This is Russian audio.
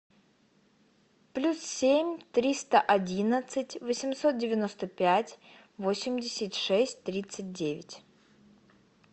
плюс семь триста одиннадцать восемьсот девяносто пять восемьдесят шесть тридцать девять